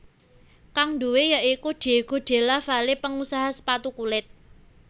Kang duwé ya iku Diego Della Valle pengusaha sepatu kulit